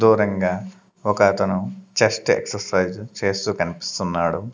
దూరంగా ఒక అతను చెస్ట్ ఎక్స్సైజ్ చేస్తూ కనిపిస్తున్నాడు.